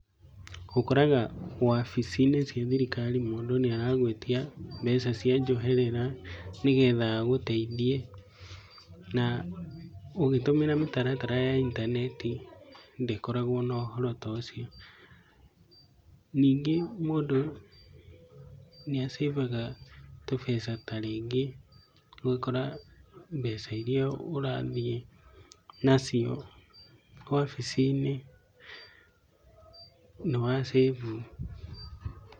Ũkoraga wabici-inĩ cia thirikari, mũndũ nĩaragũĩtia mbeca cia njoherera nĩgetha agũteithie na ũgĩtũmĩra mĩtaratara ya intaneti ndĩkoragwo na ũhoro ta ũcio. Ningĩ mũndũ nĩacĩbaga tũbeca tarĩngĩ ũgakora mbeca iria ũrathiĩ nacio wabici-inĩ nĩwacĩbu.